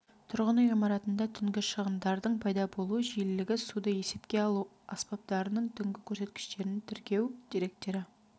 тұрғын үй ғимаратында түнгі шығындардың пайда болу жиілігі суды есепке алу аспаптарының түнгі көрсеткіштерін тіркеу деректері